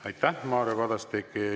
Aitäh, Mario Kadastik!